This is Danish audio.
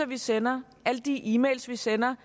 vi sender alle de e mails vi sender